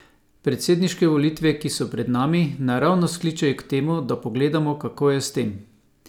Predsedniške volitve, ki so pred nami, naravnost kličejo k temu, da pogledamo, kako je s tem.